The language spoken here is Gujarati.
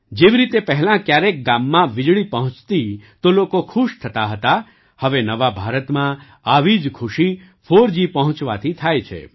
જેવી રીતે પહેલાં ક્યારેક ગામમાં વીજળી પહોંચતી તો લોકો ખુશ થતા હતા હવે નવા ભારતમાં આવી જ ખુશી ફોરજી પહોંચવાથી થાય છે